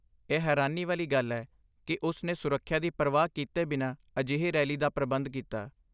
ਇਹ ਹੈਰਾਨੀ ਵਾਲੀ ਗੱਲ ਹੈ ਕਿ ਉਸ ਨੇ ਸੁਰੱਖਿਆ ਦੀ ਪਰਵਾਹ ਕੀਤੇ ਬਿਨਾਂ ਅਜਿਹੀ ਰੈਲੀ ਦਾ ਪ੍ਰਬੰਧ ਕੀਤਾ।